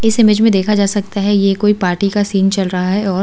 इस इमेज में देखा जा सकता है ये कोई पार्टी का सीन चल रहा है और--